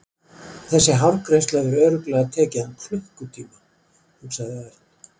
Þessi hárgreiðsla hefur örugglega tekið hann klukkutíma hugsaði Örn.